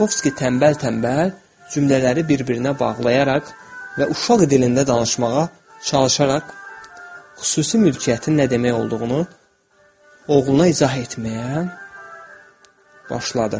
Bukovski tənbəl-tənbəl cümlələri bir-birinə bağlayaraq və uşaq dilində danışmağa çalışaraq, xüsusi mülkiyyətin nə demək olduğunu oğluna izah etməyə başladı.